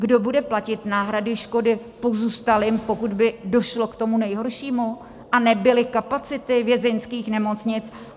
Kdo bude platit náhrady škody pozůstalým, pokud by došlo k tomu nejhoršímu a nebyly kapacity vězeňských nemocnic?